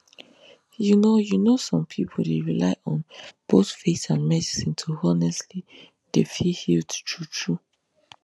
you know you know some pipu dey rely on both faith and medicine to honestly dey feel healed true true